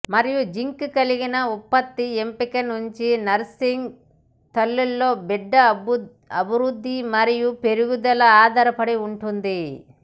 మరియు జింక్ కలిగిన ఉత్పత్తుల ఎంపిక నుండి నర్సింగ్ తల్లులలో బిడ్డ అభివృద్ధి మరియు పెరుగుదల ఆధారపడి ఉంటుంది